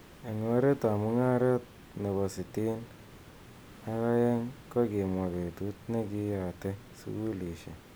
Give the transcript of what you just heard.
Eng oret ab mungaret nebo sitin ak aeng kokimwa petut nekiyate sukulishek.